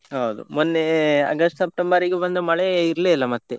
ಹೌದು ಮೊನ್ನೆ August September ಈಗೆ ಬಂದ ಮಳೆ ಇರ್ಲೇ ಇಲ್ಲ ಮತ್ತೆ.